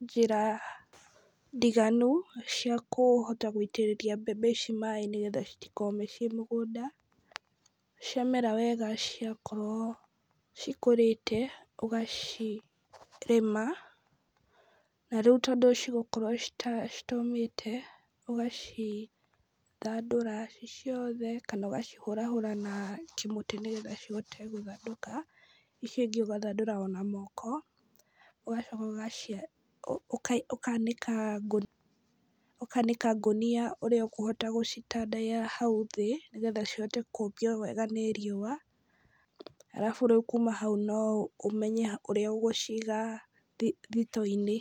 njĩra ndiganu , cia kũhota gũitĩrĩria mbembe ici maaĩ nĩgetha citikome ciĩ mũgũnda, cia mera wega ciakorwo cikũrĩte , ũgacirĩma , na rĩu tondũ cigũkorwo ci citaũmĩte ũgacithandũra ci ciothe, kana ũgacihũrahũra na kĩmũtĩ, nĩgetha cihote gũthandũka, icio ingĩ ũgathandũra ona moko, ũgacoka ũgaci ũkanĩka ngũ, ũkanĩka ngũnia ũria ũkũhota gũcitandaiya hau thĩ, nĩgetha cihote kũhĩa wega nĩ riũa, arabu rĩu kuma hau no ũmenye ũrĩa ũgũciga thi thitoo-inĩ.